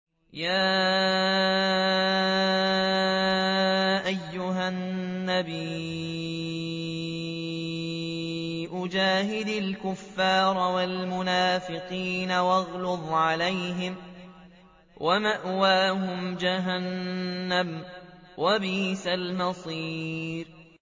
يَا أَيُّهَا النَّبِيُّ جَاهِدِ الْكُفَّارَ وَالْمُنَافِقِينَ وَاغْلُظْ عَلَيْهِمْ ۚ وَمَأْوَاهُمْ جَهَنَّمُ ۖ وَبِئْسَ الْمَصِيرُ